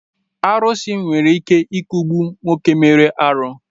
Arusi nwere ike I kugbu nwoke mere arụ